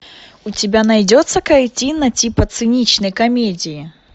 у тебя найдется картина типа циничной комедии